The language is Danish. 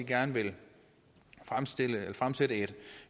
gerne vil fremsætte et